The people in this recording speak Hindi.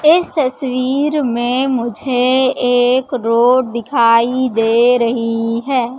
इस तस्वीर में मुझे एक रोड दिखाई दे रही है।